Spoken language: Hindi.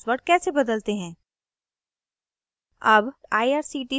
अब सीखते हैं कि password कैसे बदलते हैं